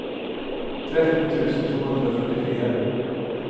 tretten tusen to hundre og førtifire